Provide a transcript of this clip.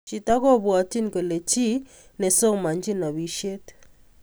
Chito kupwatini kole chi ne somanchin napishet